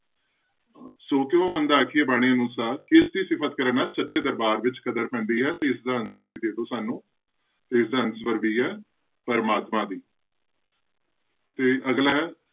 ਸੌ ਕਿਉਂ ਮੰਦਾ ਆਖੀਐ ਬਾਣੀ ਅਨੁਸਾਰ ਕਿਸਦੀ ਸਿਫ਼ਤ ਕਰਨ ਨਾਲ ਸੱਚੇ ਦਰਬਾਰ ਵਿੱਚ ਕਦਰ ਪੈਂਦੀ ਹੈ ਤੇ ਇਸਦਾ answer ਵੀ ਦੇ ਦਓ ਸਾਨੂੰ, ਤੇ ਇਸਦਾ answer ਵੀ ਹੈ ਪ੍ਰਮਾਤਮਾ ਦੀ ਤੇ ਅਗਲਾ ਹੈ,